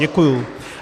Děkuji.